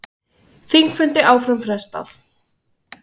Þingfundi áfram frestað